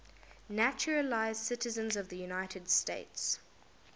naturalized citizens of the united states